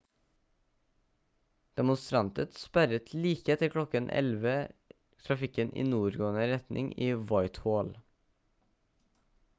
demonstranter sperret like etter klokken 11:00 trafikken i nordgående retning i whitehall